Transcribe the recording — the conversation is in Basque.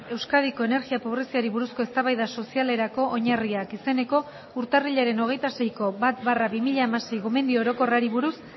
euskadiko energia pobreziari buruzko eztabaida sozialerako oinarriak izeneko urtarrilaren hogeita seiko bat barra bi mila hamasei gomendio orokorrari buruz